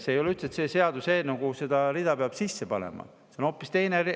See ei ole üldse see seaduseelnõu, kuhu seda rida peab sisse panema, see on hoopis teine eelnõu.